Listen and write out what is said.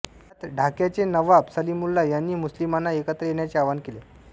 यात डाक्क्याचे नवाब सलीमउलल्ला यांनी मुस्लिमांना एकत्र येण्याचे आवाहन केले